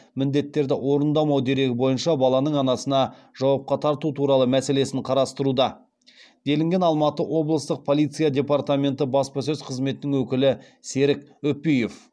міндеттерді орындамауы дерегі бойынша баланың анасына жауапқа тарту туралы мәселесін қарастыруда делінген алматы облыстық полиция департаменті баспасөз қызметінің өкілі серік үпиев